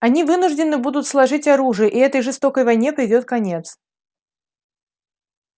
они вынуждены будут сложить оружие и этой жестокой войне придёт конец